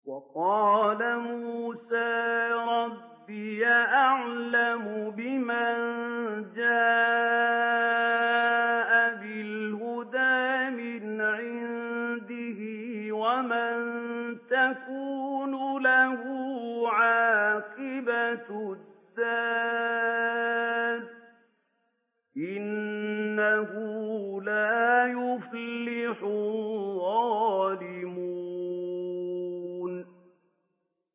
وَقَالَ مُوسَىٰ رَبِّي أَعْلَمُ بِمَن جَاءَ بِالْهُدَىٰ مِنْ عِندِهِ وَمَن تَكُونُ لَهُ عَاقِبَةُ الدَّارِ ۖ إِنَّهُ لَا يُفْلِحُ الظَّالِمُونَ